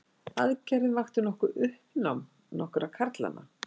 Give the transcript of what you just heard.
Aðgerðin vakti nokkuð uppnám nokkurra karlanna